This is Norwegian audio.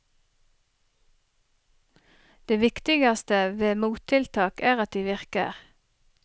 Det viktigste ved mottiltak er at de virker.